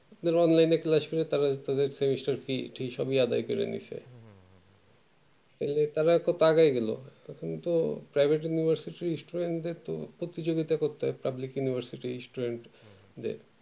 আপনারা onlinec এ class করলে তাদের semester fee ঠি সবই আদায় করে নিচ্ছে private university লে তো লাগেই এগুলো public university দের তো প্রতিযোগিতা করতে হয় student দের